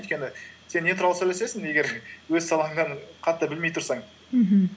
өйткені сен не туралы сөйлесесің егер өз салаңнан қатты білмей тұрсаң мхм